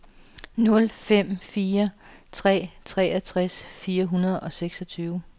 nul fem fire tre treogtres fire hundrede og seksogtyve